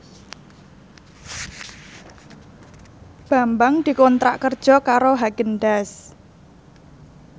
Bambang dikontrak kerja karo Haagen Daazs